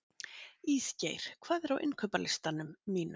Ísgeir, hvað er á innkaupalistanum mínum?